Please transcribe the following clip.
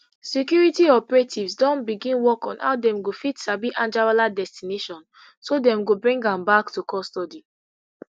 security operatives don begin work on how dem go fit sabi anjarwalla destination so dem go bring am back to custody